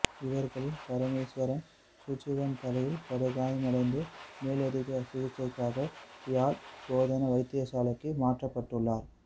இவர்களில் பரமேஸ்வரன் சுஜீவன் தலையில் படுகாயமடைந்து மேலதிக சிகிச்சைக்காக யாழ் போதனா வைத்தியசாலைக்கு மாற்றப்பட்டுள்ளார்